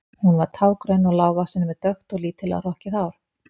Hún var tággrönn og lágvaxin með dökkt og lítillega hrokkið hár.